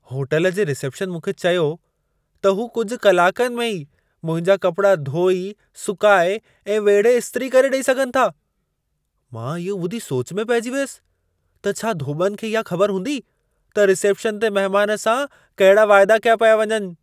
Hotel जे reception मूंखे चयो त हू कुझु कलाकनि में ई मुंहिंजा कपड़ा धोई, सुकाए ऐं वेढ़े स्त्री करे ॾेई सघनि था। मां इहो ॿुधी सोच में पहिजी वियसि त छा धोॿिनि खे इहा ख़बर हूंदी त रिसेप्शन ते महिमान सां कहिड़ा वाइदा कया पिया वञनि।